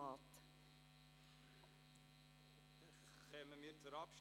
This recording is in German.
Wir kommen zur Abstimmung.